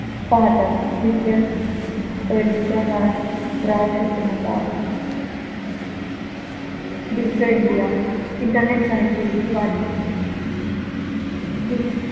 पाहतात digital पैलूंच्या काळात ग्राहक शिक्षणाचा अभाव digital India internet connectivity वाढणे digi